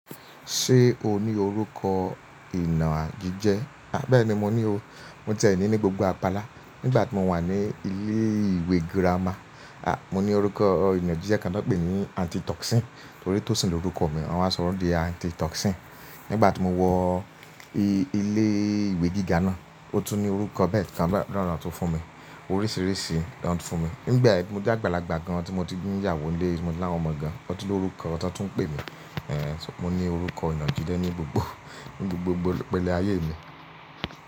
Ṣé o ní orúkọ ìnà gígẹ? Bẹ́ẹ̀ni, mo ní o. Mo tẹ̀ẹ́ ní ní gbogbo apala. Nígbà tí mo wà ní ilé ìwé gírámà, aà! Mo ní orúkọ ìnà gígẹ kan wọn pèé ní anti toxin nítorí tó sin òruko mi, wọ́n máa ń sọrọ̀ di anti toxin. Nígbà tí mo wọ ilé ìwé gíga náà, o tún ní orúkọ bẹ́ẹ̀ kan rán ran tí wọ́n fún mi. Oríṣìíríṣìí ló ń tún fún mi. Nígbà ẹgbẹ́ ẹgbẹ́ ẹgbẹ́ ẹgbẹ́ mo jẹ́ àgbàlagbà gan tí mo ti dín ìyàwó ilé, mo ti ní àwọn ọmọ gan, wọ́n tún ní orúkọ wọn tó tún ń pè mí. Mo ní orúkọ ìnà gígẹ ní gbogbo ní gbogbo pẹ̀lẹ́ ayé mi.